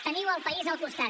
teniu el país al costat